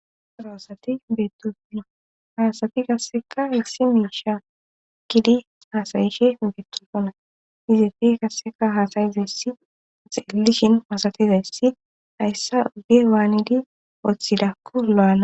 Aroasati beettofono haasati Qasseka issi miisha kidi haasayishe beettofona izafi kasseka haasayizayssi selishin masatizayssi hayssa oge waanidi oththidakko lo7ana.